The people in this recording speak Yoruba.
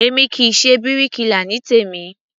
Èmi kì í ṣe bíríkilà ní tèmí.